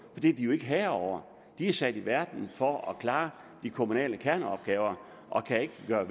det er de jo ikke herre over de er sat i verden for at klare de kommunale kerneopgaver og kan ikke gøre